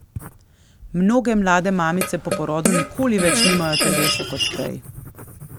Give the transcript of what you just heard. Mnoge mlade mamice po porodu nikoli več nimajo telesa kot prej.